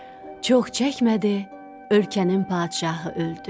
Çox çəkmədi, ölkənin padşahı öldü.